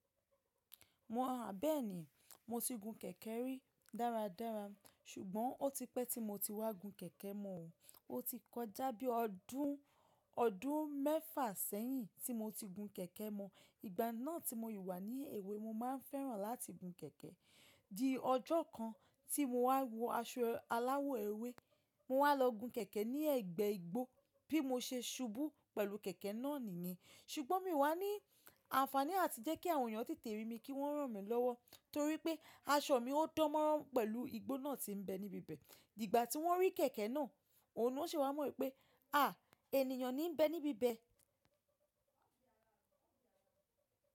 Mo ràn, bẹ́ẹ̀ni, mo ti gun kẹ̀kẹ́ rí dáradára, ṣùgbọ́n ó ti pẹ́ tí mo ti wá gun kẹ̀kẹ́ mọ. Ó ti kọjá bí i ọdún, ọdún mẹ́fà sẹ́yìn tí mo ti gun kẹ̀kẹ́ mọ. Ìgbà náà tí mo yi wá ní èwe mo màá n fẹran lati gun kẹkẹ. Di ọjọ́ kan tí mo wá wọ aṣọ aláwọ̀ ewé, mo wá lọ gun kẹ̀kẹ́ ní ẹ̀gbẹ́ igbó bí mo ṣe ṣubú pẹ̀lú kẹ̀kẹ́ náà ni mí. Ṣùgbọ́n mi wá ní àǹfàní àti jẹ́ kí àwọn èeyàn tètè rí mi kí wọ́n ràn mí lọ́wọ́, torí pé aṣọ mi o dánmọ́rán pẹ̀lú igbó náà tí ń bẹ níbi bẹ́ẹ̀. Ìgbà tí wọ́n rí kẹ̀kẹ́ náà, òun ni won ṣe wá mọ̀ wipé, áà, ènìyàn ní ń bẹ níbi bẹ́ẹ̀.